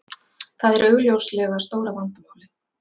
Það er augljóslega stóra vandamálið